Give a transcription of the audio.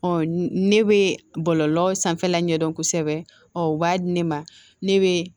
ne bɛ bɔlɔlɔ sanfɛla ɲɛdɔn kosɛbɛ ɔ o b'a di ne ma ne bɛ